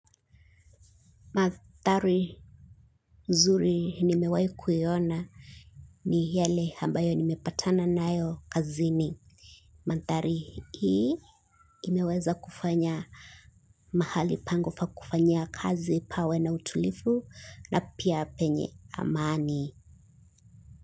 Mathari nzuri nimewai kuhiona ni yale hambayo nimepatana nayo kazini. Manthari hii imeweza kufanya mahali pangu fa kufanyia kazi pawe na utulifu na pia penye amani.